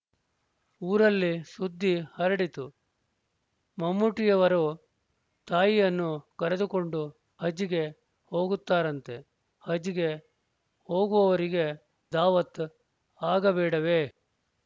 ಊರಲ್ಲಿ ಸುದ್ದಿ ಹರಡಿತು ಮಮ್ಮೂಟಿಯವರು ತಾಯಿಯನ್ನೂ ಕರೆದುಕೊಂಡು ಹಜ್‍ಗೆ ಹೋಗುತ್ತಾರಂತೆ ಹಜ್‍ಗೆ ಹೋಗುವವರಿಗೆ ದಾವತ್ ಆಗಬೇಡವೇ